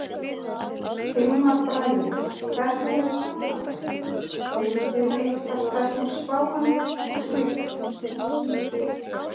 Hilmar Bragi: Hvernig er framhaldið, vitið þið eitthvað hvernig spáin er og slíkt?